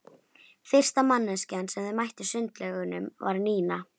Fyrsta manneskja sem þeir mættu í sundlaugunum var Nína.